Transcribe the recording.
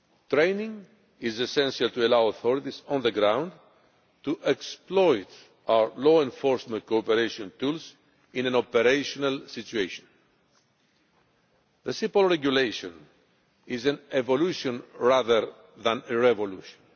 Training is essential to allow authorities on the ground to utilise our law enforcement cooperation tools in an operational situation. The CEPOL regulation is an evolution rather than a revolution.